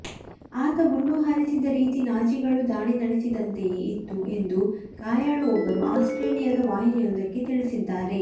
ಆತ ಗುಂಡು ಹಾರಿಸಿದ ರೀತಿ ನಾಜಿಗಳು ದಾಳಿ ನಡೆಸಿದಂತೆಯೇ ಇತ್ತು ಎಂದು ಗಾಯಾಳು ಒಬ್ಬರು ಆಸ್ಟ್ರೇಲಿಯಾದ ವಾಹಿನಿಯೊಂದಕ್ಕೆ ತಿಳಿಸಿದ್ದಾರೆ